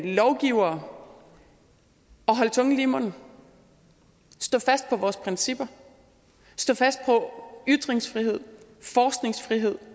lovgivere at holde tungen lige i munden stå fast på vores principper stå fast på ytringsfrihed og forskningsfrihed